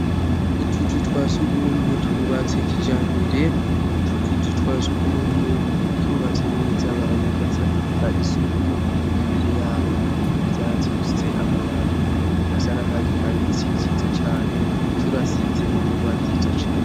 Utuzu twa sugumwe twubatse kijambere, utwo tuzu twa sugumwe twubatse neza, baradufata isuku, imbere y'aho hari ivyatsi bifise amababi asa n'akatsi kabisi vyiza cane, turasize n'ingwa nziza cane.